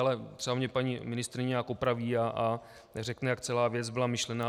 Ale třeba mě paní ministryně nějak opraví a řekne, jak celá věc byla myšlena.